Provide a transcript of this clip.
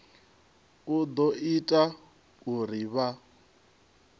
u ḓo ita uri vha